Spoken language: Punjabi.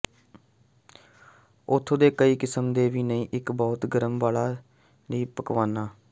ਉੱਥੇ ਦੇ ਕਈ ਕਿਸਮ ਦੇ ਦੀ ਇੱਕ ਬਹੁਤ ਹੈ ਗਰਮ ਵਾਲਾ ਲਈ ਪਕਵਾਨਾ